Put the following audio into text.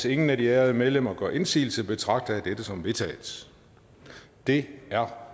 ingen af de ærede medlemmer gør indsigelse betragter jeg dette som vedtaget det er